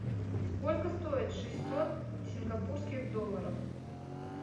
сколько стоит шестьсот сингапурских долларов